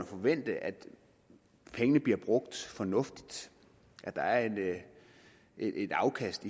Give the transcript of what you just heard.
forvente at pengene bliver brugt fornuftigt at der er et afkast